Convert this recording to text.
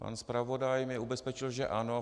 Pan zpravodaj mě ubezpečil že ano.